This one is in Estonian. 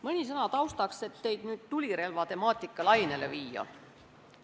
Mõni sõna taustaks, et teid tulirelvade lainele viia.